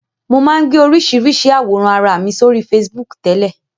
Mo máa ń gbé oríṣiríṣi àwòrán ara mi sórí Facebook tẹ́lẹ̀